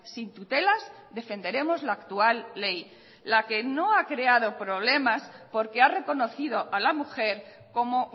sin tutelas defenderemos la actual ley la que no ha creado problemas porque ha reconocido a la mujer como